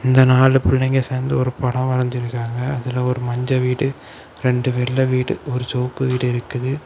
இந்த நாலு புள்ளைங்க சேர்ந்து ஒரு படம் வரைஞ்சிருக்காங்க. அதுல ஒரு மஞ்ச வீடு ரெண்டு வெல்ல வீடு ஒரு சேவப்பு வீடு இருக்குது.